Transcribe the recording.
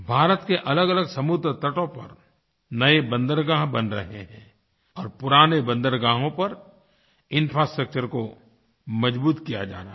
भारत के अलगअलग समुद्रतटों पर नए बंदरगाह बन रहे हैं और पुराने बंदरगाहों पर इंफ्रास्ट्रक्चर को मज़बूत किया जा रहा है